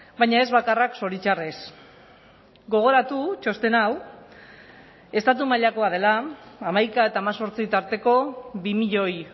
baina ez bakarrak zoritxarrez gogoratu txosten hau estatu mailakoa dela hamaika eta hemezortzi tarteko bi milioi